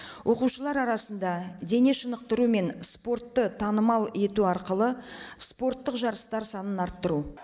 оқушылар арасында дене шынықтыру мен спортты танымал ету арқылы спорттық жарыстар санын арттыру